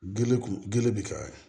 Gele kun gele bi ka ye